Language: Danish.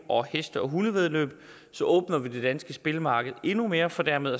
og heste og hundevæddeløb åbner vi det danske spilmarked endnu mere for dermed